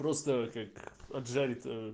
просто как отжали то